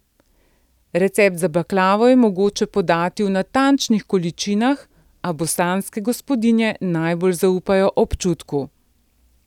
Recept za baklavo je mogoče podati v natančnih količinah, a bosanske gospodinje najbolj zaupajo občutku.